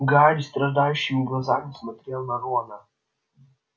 гарри страдающими глазами смотрел на рона